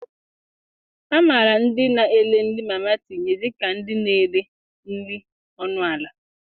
A mara ndị na-ere nri mama tinye dịka ndị na-ere nri ọnụ ala.